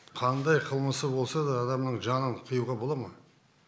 қандай қылмысы болса да адамның жанын қиюға бола ма